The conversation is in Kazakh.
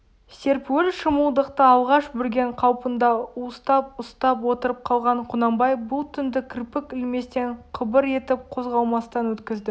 серпуіл шымылдықты алғаш бүрген қалпында уыстап ұстап отырып қалған құнанбай бұл түнді кірпік ілместен қыбыр етіп қозғалмастан өткізді